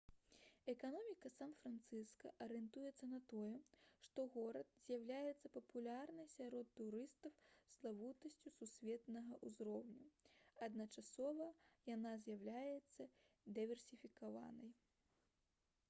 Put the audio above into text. эканоміка сан-францыска арыентуецца на тое што горад з'яўляецца папулярнай сярод турыстаў славутасцю сусветнага ўзроўню адначасова яна з'яўляецца дыверсіфікаванай